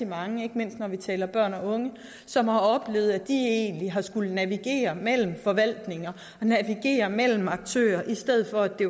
mange ikke mindst når vi taler om børn og unge som har oplevet at de egentlig har skullet navigere mellem forvaltninger mellem aktører i stedet for at det